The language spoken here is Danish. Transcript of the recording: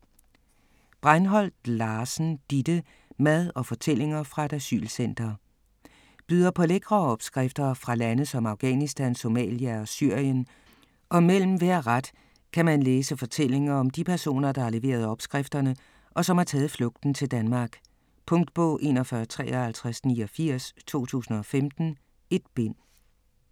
Breinholt Larsen, Didde: Mad og fortællinger fra et asylcenter Byder på lækre opskrifter fra lande som Afghanistan, Somalia og Syrien, og mellem hver ret kan man læse fortællinger om de personer, der har leveret opskrifterne, og som har taget flugten til Danmark. Punktbog 415389 2015. 1 bind.